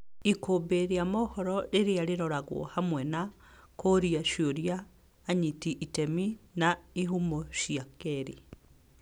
Ikũmbi ria mohoro rĩrĩa rĩroragwo hamwe na kũũria ciũria anyiti iteme na ihumo cia keerĩ.